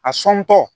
A sɔntɔ